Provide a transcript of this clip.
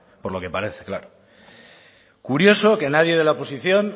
por lo que parece claro curioso que nadie de la oposición